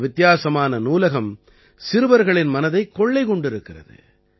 இந்த வித்தியாசமான நூலகம் சிறுவர்களின் மனதைக் கொள்ளை கொண்டிருக்கிறது